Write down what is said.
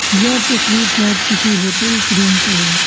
यह तस्वीर शायद किसी होटल रूम का है।